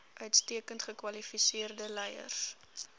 uitstekend gekwalifiseerde leiers